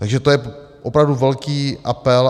Takže to je opravdu velký apel.